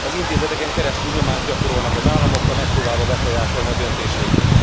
Az intézeteken keresztül nyomást gyakorolnak az államokra, megpróbálva befolyásolni a döntéseiket.